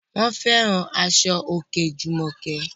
Wọ́n fẹ́ràn aṣọ òkè Jùmọ̀kẹ́